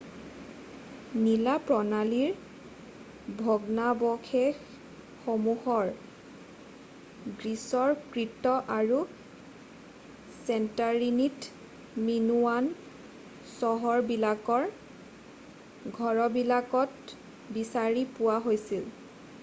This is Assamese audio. নলা প্ৰণালীৰ ভগ্নাৱশেষশসমূহ গ্ৰীছৰ কৃত আৰু চেণ্টৰীনিৰ মিনোৱান চহৰবিলাকৰ ঘৰবিলাকত বিচাৰি পোৱা গৈছে